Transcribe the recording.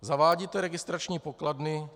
Zavádíte registrační pokladny.